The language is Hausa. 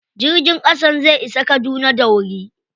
Jirgin ƙasan zai isa Kaduna da wuri.